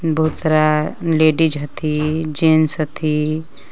बहुत सारा लेडिस हथि जेन्स हथि।